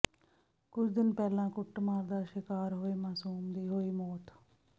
ਕੁੱਝ ਦਿਨ ਪਹਿਲਾਂ ਕੁੱਟਮਾਰ ਦਾ ਸ਼ਿਕਾਰ ਹੋਏ ਮਾਸੂਮ ਦੀ ਹੋਈ ਮੌਤ